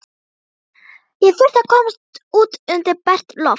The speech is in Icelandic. Ég þurfti að komast út undir bert loft.